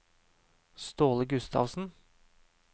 Ståle Gustavsen